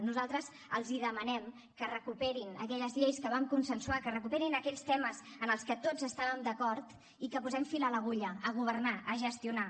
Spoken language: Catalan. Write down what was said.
nosaltres els demanem que recuperin aquelles lleis que vam consensuar que recuperin aquells temes en els que tots estàvem d’acord i que posem fil a l’agulla a governar a gestionar